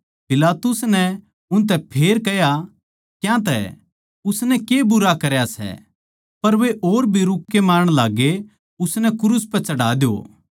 पिलातुस नै उनतै फेर कह्या क्यांतै उसनै के बुरा करया सै पर वे और भी रूक्के मारण लाग्गे उसनै क्रूस पै चढ़ा द्यो